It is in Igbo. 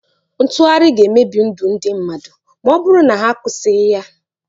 Ntụgharị ga-emebi ndụ ndị mmadụ ma ọ bụrụ na a kwụsịghị ya.